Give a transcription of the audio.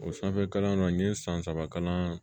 O sanfɛ kalanyɔrɔ n ye san saba kalan